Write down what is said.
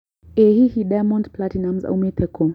ĩ hihi Diamond platinumz aũmite kũ